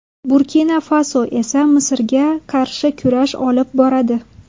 Burkina-Faso esa Misrga qarshi kurash olib boradi.